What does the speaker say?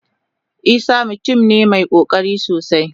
Isah mutum ne mai kokari sosai.